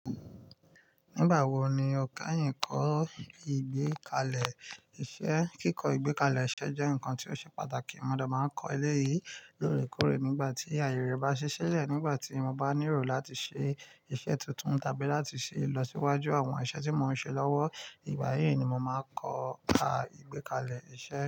Nígbà wo ni o kẹ́yìn kọ́ ìgbékalẹ̀ iṣẹ́? Kíkọ ìgbẹ́kalẹ̀ iṣẹ́ jẹ́ nǹkan tí ó ṣe pàtàkì. Mo dẹ̀ máa ń kọ eléyìí lóòrèkóòrè nígbà tí ààyè rẹ̀ bá ṣí sílẹ̀, nígbà tí mo bá nírò láti ṣe iṣẹ́ tuntun tàbí láti ṣe ìlọsíwájú àwọn iṣẹ́ tí mò ń ṣe lọ́wọ́. Ìgbà yìí ni mo máa ń kọ àwọn ìgbékalẹ̀ iṣẹ́.